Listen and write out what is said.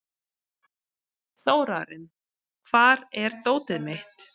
Þórarinn, hvar er dótið mitt?